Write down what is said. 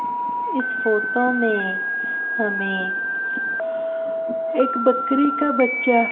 इस फोटो में हमें एक बकरी का बच्चा--